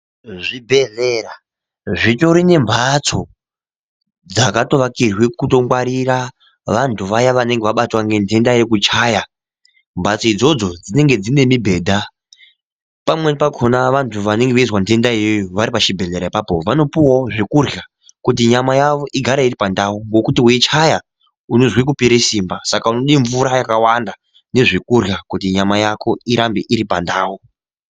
Zvibhedhlera zvitori nembatso yakatovakirwa kutongwarira vantu vaya vanenge vabatwa ngendenda yekuchaya, mbatso idzodzo dzine mibhedha pamweni pakona vantu vanenge veizwa ndenda iyoyo varipachibhedhlera ipapo vanopuwawo zvekurya kuti nyama yavo igare iripandau ngokuti weichaya unozwe kupera simba saka unode mvura yakawanda nezvekuryabkuti nyama Yako igare iripandau.